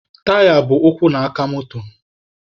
Taya bụ ụkwụ na aka moto.